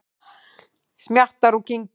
Smjattar og kyngir.